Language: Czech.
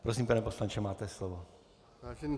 Prosím, pane poslanče, máte slovo.